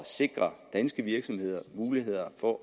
sikre danske virksomheder muligheder for